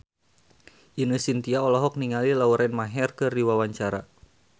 Ine Shintya olohok ningali Lauren Maher keur diwawancara